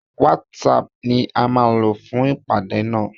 WhatsApp ni a má lò fún ìpàdé nà.